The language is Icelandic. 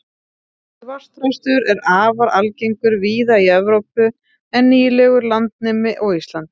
svartþröstur er afar algengur víða í evrópu en nýlegur landnemi á íslandi